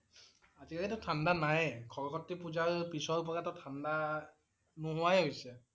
আজি কালিটো ঠাণ্ডা নাইয়ে। সৰস্বতী পূজাৰ পিছৰ পৰাটো ঠাণ্ডা নোহোৱাই হৈছে